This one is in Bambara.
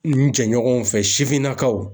N jɛɲɔgɔnw fɛ sifinnakaw.